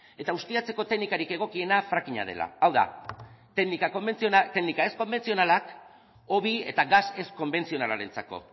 eta ustiatzeko teknikarik egokiena fracking a dela hau da teknika ez konbentzionalak hobi eta gas ez konbentzionalarentzako